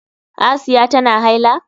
Asiya tana haila?